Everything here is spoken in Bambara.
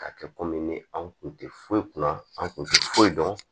Ka kɛ komi ni an kun tɛ foyi kunna an kun tɛ foyi dɔn